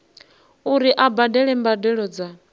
uri a badele mbadelo dza